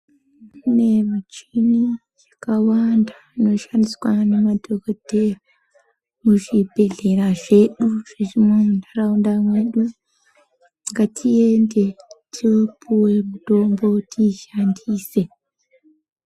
Kune michini yakawanda inoshandiswa ngemadhogodheya muzvibhedhlera zvedu, zvirimo muntaraunda mwedu. Ngatiende topuwe mitombo tiishandise.